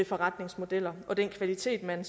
forretningsmodeller og den kvalitet man